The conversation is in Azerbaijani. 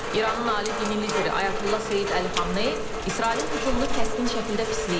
İranın ali dini lideri Ayətullah Seyid Əli Xamneyi İsrailin hücumunu kəskin şəkildə pisləyib.